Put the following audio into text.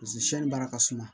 Paseke siyɛnni baara ka suma